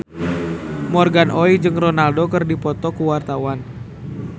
Morgan Oey jeung Ronaldo keur dipoto ku wartawan